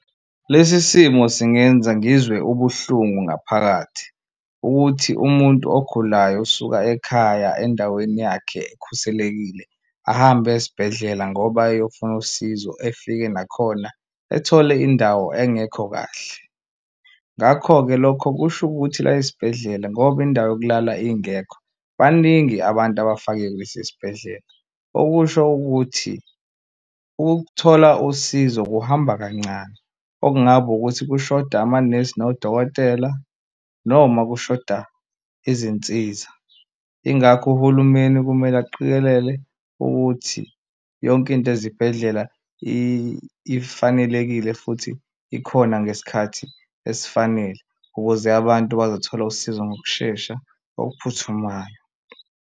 Lesi simo singenza ngizwe ubuhlungu ngaphakathi ukuthi umuntu ogulayo usuka ekhaya endaweni yakhe ekhuselekile ahambe aye esibhedlela ngoba eyofuna usizo efike nakhona ethole indawo engekho kahle ngakho-ke, lokho kusho ukuthi la esibhedlela ngoba indawo yokulala ingekho baningi abantu abafake kulesi sibhedlela. Okusho ukuthi ukuthola usizo kuhamba kancane, okungaba ukuthi kushoda amanesi nodokotela noma kushoda izinsiza, ingakho uhulumeni kumele aqikelele ukuthi yonke into ezibhedlela ifanelekile futhi ikhona ngesikhathi esifanele, ukuze abantu bazothola usizo ngokushesha okuphuthumayo.